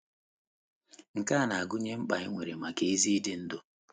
Nke a na - agụnye mkpa anyị nwere maka ezi idu ndú.